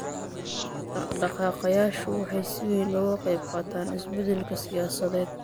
Dhaqdhaqaaqayaashu waxay si weyn uga qaybqaateen isbeddelka siyaasadeed.